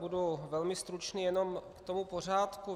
Budu velmi stručný, jenom k tomu pořádku.